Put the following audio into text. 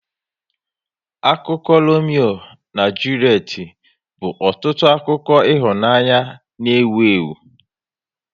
Akụkọ Lomeo na Julet bụ ọtụtụ akụkọ ịhụnanya n' ewu ewu